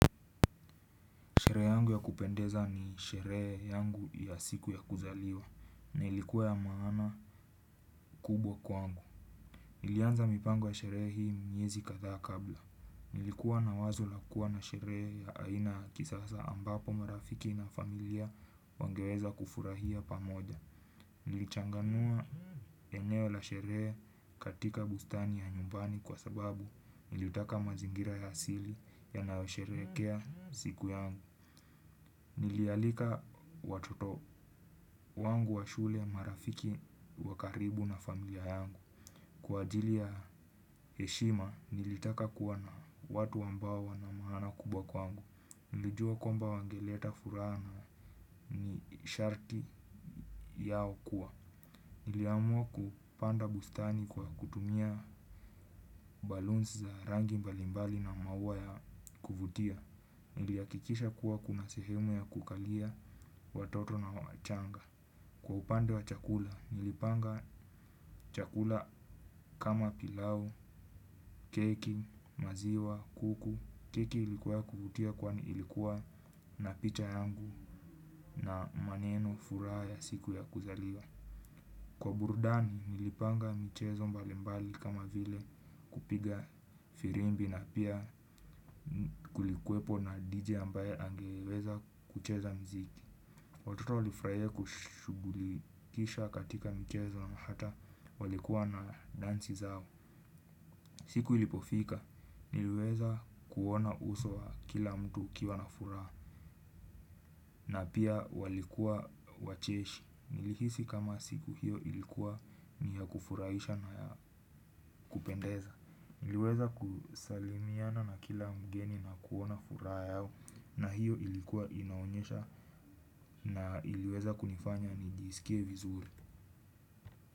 Sheree yangu ya kupendeza ni sheree yangu ya siku ya kuzaliwa, na ilikuwa ya maana kubwa kwangu. Nilianza mipango ya sheree hii miezi katha kabla. Nilikuwa na wazo la kuwa na sheree ya aina ya kisasa ambapo marafiki na familia wangeweza kufurahia pamoja. Nilichanganua eneo la sheree katika bustani ya nyumbani kwa sababu niliutaka mazingira ya asili yanao shereekea siku yangu. Nilialika watoto wangu wa shule marafiki wakaribu na familia yangu. Kwa ajili ya eshima nilitaka kuwa na watu ambawo wana maana kubwa kwangu. Nilijua kwamba wangeleta fura na ni sharti yao kuwa niliamua kupanda bustani kwa kutumia baloons za rangi mbalimbali na mauwa ya kuvutia. Niliyakikisha kuwa kuna sehemu ya kukalia watoto na wachanga. Kwa upande wa chakula, nilipanga chakula kama pilau, keki, maziwa, kuku, keki ilikuwa kuvutia kwani ilikuwa na picha yangu na maneno furaha ya siku ya kuzaliwa. Kwa burdani, nilipanga michezo mbalimbali kama vile kupiga firimbi na pia kulikuwepo na DJ ambaye angeweza kucheza mziki. Watoto walifraia kushugulikisha katika mchezo ama hata walikuwa na danzi zao. Siku ilipofika, niliweza kuona uso wa kila mtu ukiwa na furaha na pia walikuwa wacheshi. Nilihisi kama siku hiyo ilikuwa ni ya kufurahisha na ya kupendeza. Niliweza kusalimiana na kila mgeni na kuona furaha yao na hiyo ilikuwa inaonyesha na iliweza kunifanya nijisikie vizuri.